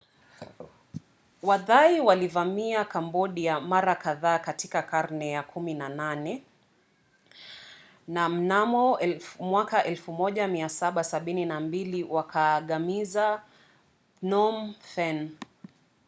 wathai walivamia kambodia mara kadhaa katika karne ya 18 na mnamo 1772 wakaangamiza phnom phen